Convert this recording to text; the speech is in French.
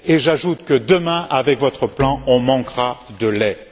Et j'ajoute que demain, avec votre plan, on manquera de lait.